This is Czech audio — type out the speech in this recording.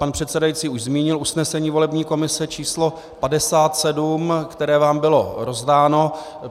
Pan předseda už zmínil usnesení volební komise číslo 57, které vám bylo rozdáno.